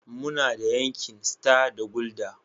Muna da Heineken, Star da Guldar.